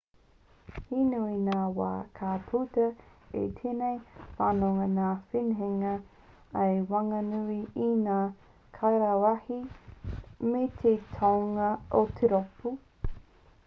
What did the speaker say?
he nui ngā wā ka puta i tēnei whanonga ngā wehenga i waenganui i ngā kaiārahi me te toenga o te rōpū